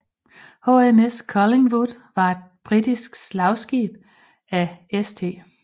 HMS Collingwood var et britisk slagskib af St